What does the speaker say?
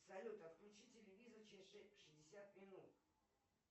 салют отключи телевизор через шестьдесят минут